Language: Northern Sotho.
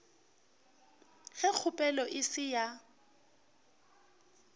ge kgopelo e se ya